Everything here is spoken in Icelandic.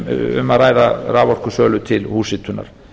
um að ræða raforkusölu til húshitunar